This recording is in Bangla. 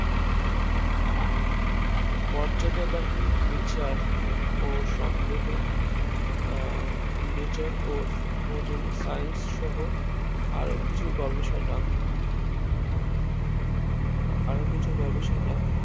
মর্যাদা বাহক নিচের ও সন্দেহ নিচার খুঁজবে Science সহ আরো কিছু গবেষণা আহা আরো কিছু গবেষণা